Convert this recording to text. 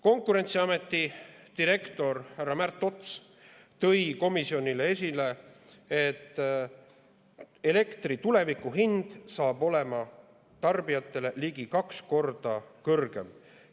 Konkurentsiameti direktor härra Märt Ots tõi komisjonis esile, et elektri tulevikuhind saab olema tarbijatele ligi kaks korda kõrgem.